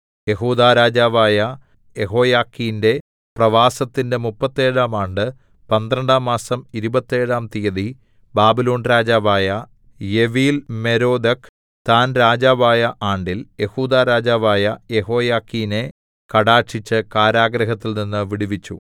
യെഹൂദാ രാജാവായ യെഹോയാഖീന്റെ പ്രവാസത്തിന്റെ മുപ്പത്തേഴാം ആണ്ട് പന്ത്രണ്ടാം മാസം ഇരുപത്തേഴാം തിയ്യതി ബാബിലോൺ രാജാവായ എവീൽമെരോദക്ക് താൻ രാജാവായ ആണ്ടിൽ യെഹൂദാ രാജാവായ യെഹോയാഖീനെ കടാക്ഷിച്ച് കാരാഗൃഹത്തിൽനിന്ന് വിടുവിച്ചു